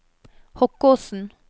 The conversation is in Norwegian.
Hokkåsen